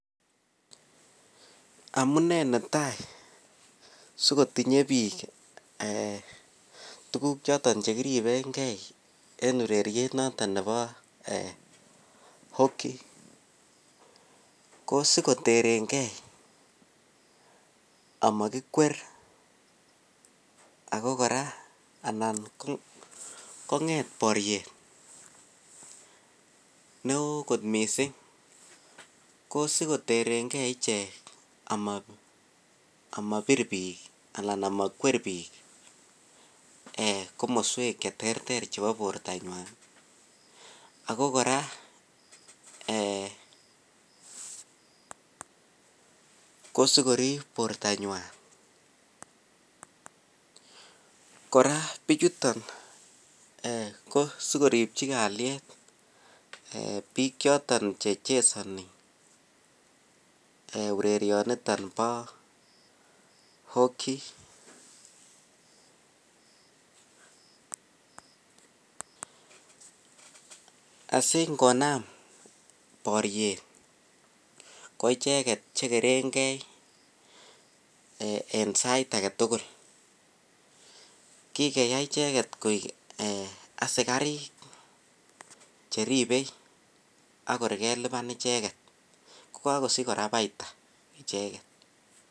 Amune netai sigotinye biik tuguk choton che kiribenge en ureriet noton nebo hoki ko sikoterenge amakikwer ago kora anan konget boriet neo mising ko skloterenge ichek ama bir biik anan amakwer biik eekomoswek cheterter chebo bortanywan ago kora ee ko sikorip bortanywan. Kora bichuton ko sigoripchi kalyet biik choton che chesani ee orerionito bo hoki asingonam boriet koicheget chekerenge en sait age tugul. Kikeyai icheget koik asikarik che ripei agoi kelupan icheget, ko kakosich kora paita icheget.